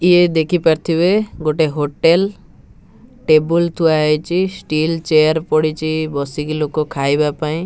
ଇଏ ଦେଖି ପାରୁଥିବେ ଗୋଟେ ହୋଟେଲ ଟେବୁଲ ଥୁଆହେଇଛି ଷ୍ଟିଲ ଚେୟାର ପଡିଚି ବସିକି ଲୋକ ଖାଇବାପାଇଁ --